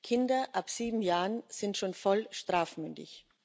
Kinder ab sieben Jahren sind schon voll strafmündig.